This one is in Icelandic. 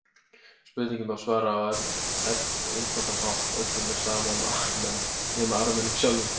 Spurningunni má svara á einfaldan hátt: Öllum er sama um Armena, nema Armenum sjálfum.